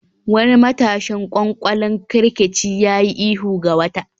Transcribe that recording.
Wani matashin ƙwanƙolin kerkeci ya yi ihu ga wata